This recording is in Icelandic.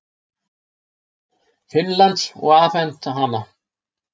Finnlands og afhent hana.